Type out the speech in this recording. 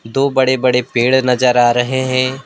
दो बड़े बड़े पेड़ नजर आ रहे हैं।